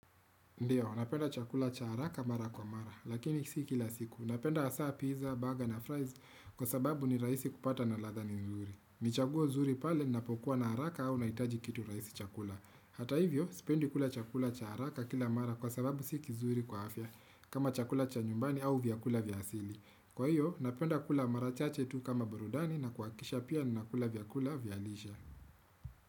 Ndiyo, napenda chakula cha haraka mara kwa mara, lakini si kila siku. Napenda hasa pizza, burger na fries kwa sababu ni rahisi kupata na ladha ni nzuri. Ni chaguo zuri pale ninapokuwa na haraka au nahitaji kitu rahisi cha kula. Hata hivyo, spendi kula chakula cha haraka kila mara kwa sababu si kizuri kwa afya, kama chakula cha nyumbani au vyakula vya asili. Kwa hiyo, napenda kula mara chache tu kama burudani na kuhakikisha pia ninakula vyakula vya lishe.